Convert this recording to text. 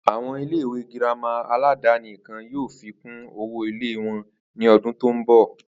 Àwo̩n ilé ìwé girama aládaní kan yóò fí kún owó ilé wo̩n ní o̩dún tó ń bò̩